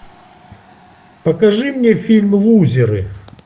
покажи мне фильм лузеры